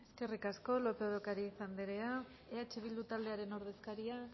eskerrik asko lópez de ocariz andrea eh bildu taldearen ordezkaria